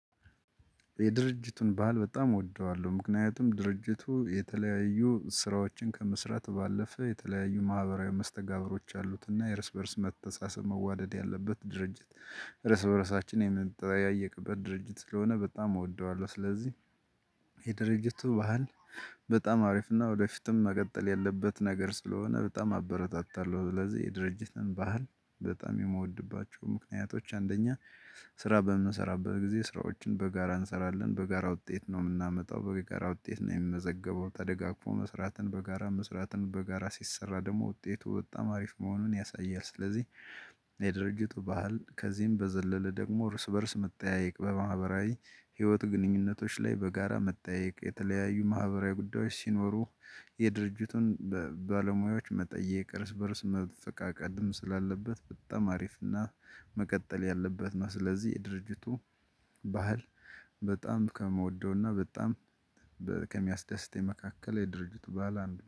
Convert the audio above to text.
የድርጅቱን በዓል በጣም እወደዋለሁ ምክንያቱም ድርጅቱ የተለያዩ ስራዎችን ከመስራት ባለፈ የተለያዩ ማህበራዊ መስተጋብሮች አሉትና የርስ በርስ መተሳሰብ መዋደድ ያለበት ድርጅት። ርስ በርዕሳችን የምንጠያየቅበት ድርጅት ስለሆነ በጣም እወደዋለሁ ስለዚህ። የድርጅቱ ባህል። በጣም አሪፍና ወደፊትም መቀጠል ያለበት ነገር ስለሆነ በጣም አበረታታለሁ። ስለዚህ የድርጅትን ባህል በጣም የምወድባቸው ምክንያቶች አንደኛ። ስራ በምንሰራበት ጊዜ ስራዎችን በጋራ እንሰራለን በጋራ ውጤት ነው የምናመጣው በጋራ ውጤት ነው የሚመዘገበው። ተደጋግፎ መስራትን በጋራ መስራትን በጋራ ሲሰራ ደግሞ ውጤቱ በጣም አሪፍ መሆኑን ያሳያል ስለዚህ። የድርጅቱ ባህል ከዚህም በዘለለ ደግሞ እርስ በእርስ መጠያየቅ በማህበራዊ ህይወት ግንኙነቶች ላይ በጋራ መጠያየቅ የተለያዩ ማህበራዊ ጉዳዮች ሲኖሩ። የድርጅቱን ባለሙያዎች መጠየቅ እርስ በእርስ መፈቃቀድም ስላለበት በጣም አሪፍ እና መቀጠል ያለበት ነው። ስለዚህ የድርጅቱ ባህል በጣም ከምወደውና በጣም ከሚያስደስት መካከል የድርጅቱ ባህል አንዱ ነው።